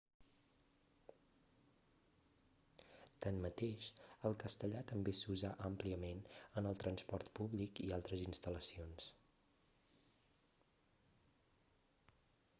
tanmateix el castellà també s'usa àmpliament en el transport públic i altres instal·lacions